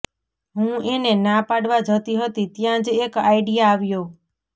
હું એને ના પાડવા જતી હતી ત્યાં જ એક આઈડિયા આવ્યો